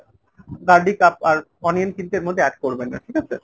garlic আব আর onion কিন্তু add করবেন না ঠিক আছে ?